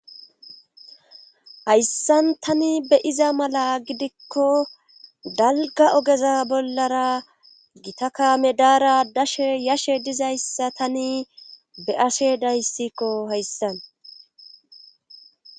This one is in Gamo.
hayssan tani be'iza mala gidikko dalga ogeza bollara gita kaame daara dashe yashe dizayssa tani be ashe dayssikko hayssan